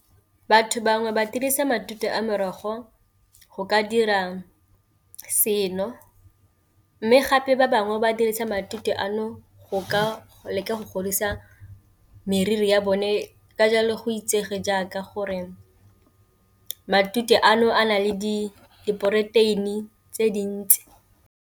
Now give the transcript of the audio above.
Batho bangwe ba dirisa matute a merogo go ka dira seno, mme gape ba bangwe ba dirisa matute ano go ka leka go godisa meriri ya bone ka jalo go itsege jaaka gore matute ano a na le di p diporoteini tse dintsi.